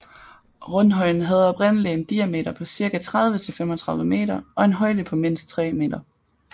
Rundhøjen havde oprindelig en diameter på cirka 30 til 35 meter og og en højde på mindst tre meter